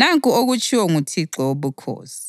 Nanku okutshiwo nguThixo Wobukhosi: